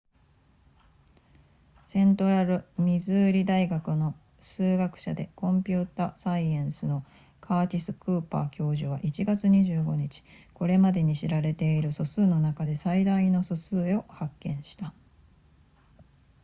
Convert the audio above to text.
セントラルミズーリ大学の数学者でコンピュータサイエンスのカーティスクーパー教授は1月25日これまでに知られている素数の中で最大の素数を発見した